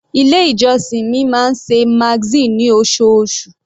Ilé ìjọsìn mi máa ń ṣe magazine ní osoosù.